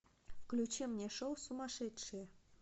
включи мне шоу сумасшедшие